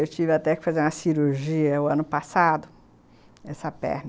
Eu tive até que fazer uma cirurgia o ano passado, essa perna.